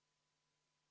Head ametikaaslased!